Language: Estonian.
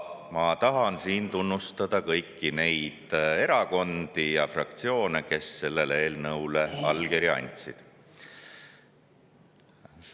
Ma tahan tunnustada kõiki neid erakondi ja fraktsioone, kes sellele eelnõule allkirja andsid.